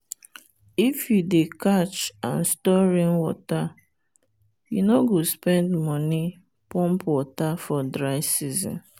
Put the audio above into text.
if you dey catch and store rainwater you no go spend money pump water for dry season.